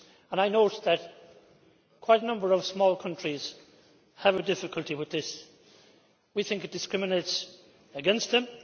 I note that quite a number of small countries have difficulty with this, and we think it discriminates against them.